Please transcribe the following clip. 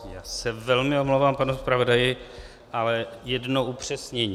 Já se velmi omlouvám, pane zpravodaji, ale jedno upřesnění.